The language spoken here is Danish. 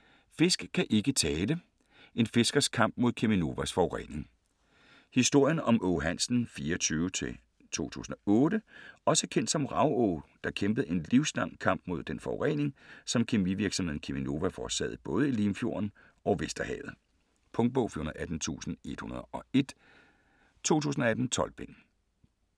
Fisk kan ikke tale: en fiskers kamp mod Cheminovas forurening Historien om Aage Hansen (1924-2008) - også kendt som Rav-Aage, der kæmpede en livslang kamp mod den forurening, som kemivirksomheden Cheminova forårsagede både i Limfjorden og Vesterhavet. Punktbog 418101 2018. 12 bind.